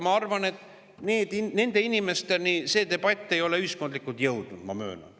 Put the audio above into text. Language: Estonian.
Ma arvan, et nende inimesteni see debatt ei ole ühiskondlikult jõudnud, ma möönan.